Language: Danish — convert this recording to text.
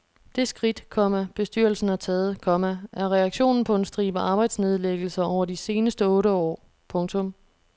Det skridt, komma bestyrelsen har taget, komma er reaktionen på en stribe arbejdsnedlæggelser over de seneste otte år. punktum